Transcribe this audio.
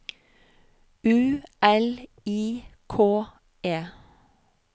U L I K E